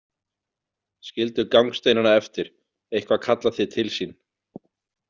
Skildu gangsteinana eftir, eitthvað kallar þig til sín.